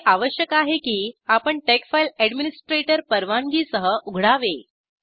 हे आवश्यक आहे की आपण टेक्स फाइल अडमिनिस्ट्रेटर परवानगीसह उघडावे